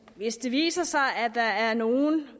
hvis det viser sig at der er nogle